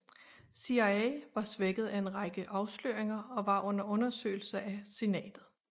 CIA var svækket af en række afsløringer og var under undersøgelse af Senatet